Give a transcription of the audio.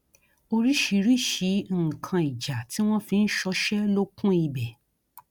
oríṣiríṣiì nǹkan ìjà tí wọn fi ń ṣọṣẹ ló kún ibẹ